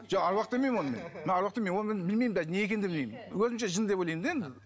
жоқ аруақ демеймін мен оны мен мен аруақ демеймін оны мен білмеймін де не екенін де білмеймін өзімше жын деп ойлаймын да енді